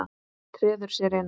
Treður sér inn.